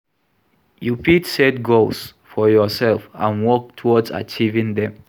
You fit set goals for yourself and work towards achieving dem.